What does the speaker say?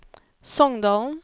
Songdalen